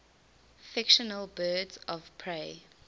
fictional birds of prey